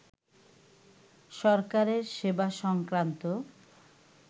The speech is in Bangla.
সরকারের সেবা সংক্রান্ত